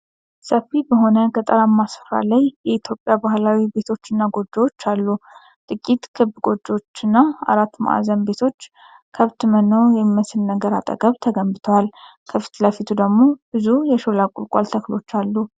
ሰፊ በሆነ ገጠራማ ስፍራ ላይ የኢትዮጵያ ባህላዊ ቤቶችና ጎጆዎች አሉ። ጥቂት ክብ ጎጆዎችና አራት ማዕዘን ቤቶች ከብት መኖ የሚመስል ነገር አጠገብ ተገንብተዋል። ከፊት ለፊቱ ደግሞ ብዙ የሾላ ቁልቋል ተክሎች አሉ።